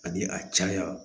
Ani a caya